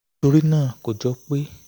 nítorí náà kò jọ pé